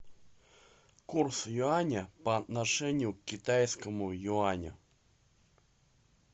курс юаня по отношению к китайскому юаню